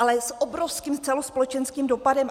Ale s obrovským celospolečenským dopadem.